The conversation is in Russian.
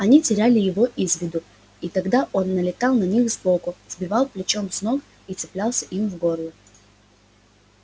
они теряли его из виду и тогда он налетал на них сбоку сбивал плечом с ног и цеплялся им в горло